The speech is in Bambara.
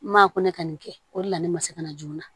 N m'a ko ne ka nin kɛ o de la ne ma se ka na joona